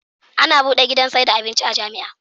Ana buɗe gidan saida abinci a jamia